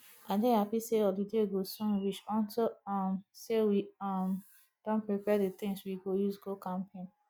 i dey happy say holiday go soon reach unto um say we um don prepare the things we go use go camping